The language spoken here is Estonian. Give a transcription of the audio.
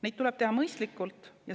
Neid tuleb teha mõistlikult.